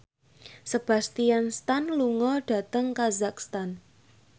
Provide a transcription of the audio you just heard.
Sebastian Stan lunga dhateng kazakhstan